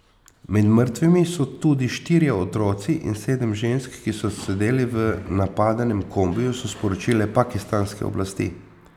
Med mrtvimi so tudi štirje otroci in sedem žensk, ki so sedeli v napadenem kombiju, so sporočile pakistanske oblasti.